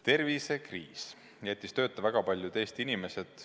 Tervisekriis jättis tööta väga paljud Eesti inimesed.